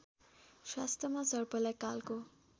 शास्त्रमा सर्पलाई कालको